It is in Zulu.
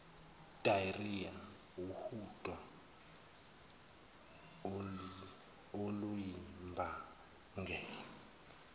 diarhoea uhudo oluyimbangela